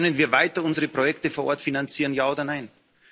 Können wir weiter unsere Projekte vor Ort finanzieren, ja oder nein?